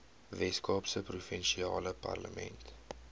weskaapse provinsiale parlement